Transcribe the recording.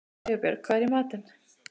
Sigurbjörg, hvað er í matinn?